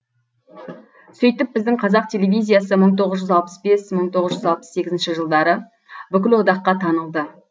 сөйтіп біздің қазақ телевизиясы мың тоғыз жүз алпыс бес мың тоғыз жүз алпыс сегізінші жылдары бүкіл одаққа танылды